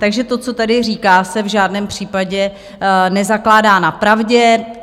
Takže to, co tady říká, se v žádném případě nezakládá na pravdě.